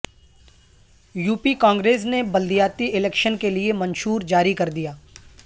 UP Congress نے بلدیاتی election کیلئے منشور جاری کردیا